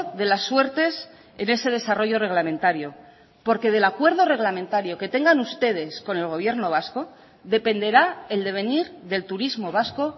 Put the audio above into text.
de las suertes en ese desarrollo reglamentario porque del acuerdo reglamentario que tengan ustedes con el gobierno vasco dependerá el devenir del turismo vasco